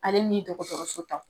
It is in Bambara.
Ale ni dɔgɔtɔrɔso ta.